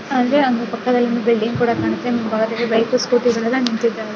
ಅಂದ್ರೆ ಅದರ ಪಕ್ಕದಲ್ಲಿ ಒಂದು ಬಿಲ್ಡಿಂಗ್ ಕೂಡ ಕಾಣುತ್ತೆ ಮುಂಭಾಗದಲ್ಲಿ ಬೈಕ್ ಸ್ಕೋಟಿಗಳು ಎಲ್ಲಾ ನಿಂತಿದ್ದವೆ .